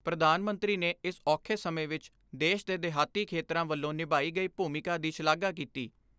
ਪ੍ਰਧਾਨ ਮੰਤਰੀ ਨੇ ਇਸ ਔਖੇ ਸਮੇਂ ਵਿਚ ਦੇਸ਼ ਦੇ ਦਿਹਾਤੀ ਖੇਤਰਾਂ ਵਲੋਂ ਨਿਭਾਈ ਗਈ ਭੂਮਿਕਾ ਦੀ ਸ਼ਲਾਘਾ ਕੀਤੀ।